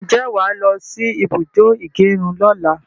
Ǹjẹ́ wàá lọsí ibùdó ìgẹrun lọ́la?